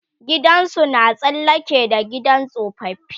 gidansu na tsallake da gidan tsofaffi